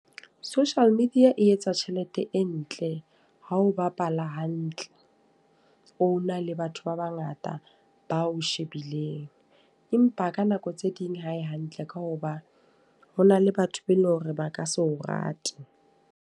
Social media e etsa tjhelete e ntle, ha o bapala hantle. O na le batho ba bangata bao shebileng. Empa ka nako tse ding hae hantle, ka hoba ho na le batho be eleng hore ba ka se o rate.